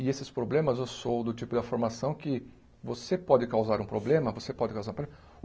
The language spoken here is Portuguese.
E esses problemas, eu sou do tipo da formação que você pode causar um problema, você pode causar proble o